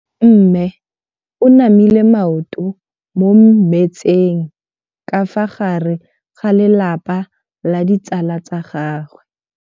Mme o namile maoto mo mmetseng ka fa gare ga lelapa le ditsala tsa gagwe.